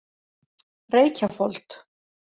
Reykjafold